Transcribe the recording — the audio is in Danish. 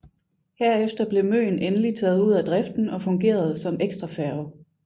Herefter blev Møn endelig taget ud af driften og fungerede som ekstrafærge